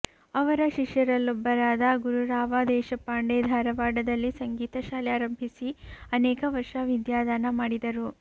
ಅವರ ಶಿಷ್ಯರಲ್ಲೊಬ್ಬರಾದ ಗುರುರಾವ ದೇಶಪಾಂಡೆ ಧಾರವಾಡದಲ್ಲಿ ಸಂಗೀತಶಾಲೆ ಆರಂಭಿಸಿ ಅನೇಕ ವರ್ಷ ವಿದ್ಯಾದಾನ ಮಾಡಿದರು